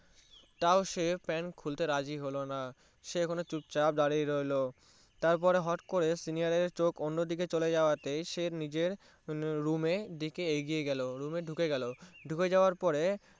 তও সে Pant খুলতে রাজি হলোনা সে এখনোচুপ চাপ দাঁড়িয়ে রইলো তারপরে হটাৎ করে Senior এর চোখ অন্য দিকে চলে যাওয়া সে নিজের Room এ এগিয়ে গেলো Room এ ঢুকে গেলো দুঃখে গিয়ে সে যাওয়ার পরে